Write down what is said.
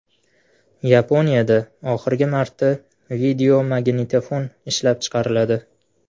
Yaponiyada oxirgi marta videomagnitofon ishlab chiqariladi .